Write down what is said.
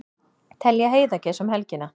Telja heiðagæs um helgina